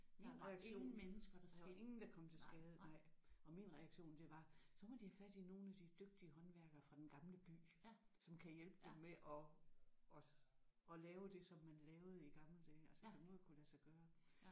Lige præcis og der var ingen der kom til skade nej og min reaktion det var så må de have fat i nogle af de dygtige håndværkere fra Den Gamle By som kan hjælpe dem med at at at lave det som man lavede i gamle dage altså det må jo kunne lade sig gøre